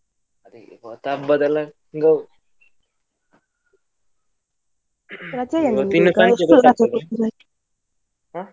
ಅದೇ ಇವತ್ತು ಹಬ್ಬದೆಲ್ಲ ಗೌ. ಇವತ್ತು ಇನ್ನು ಸಾಯಂಕಾಲ .